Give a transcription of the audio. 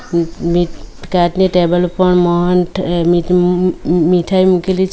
મ-મીઠ કાચની ટેબલ ઉપર મોહન્થ મીઠ મ-મ-મીઠાઈ મૂકેલી છે.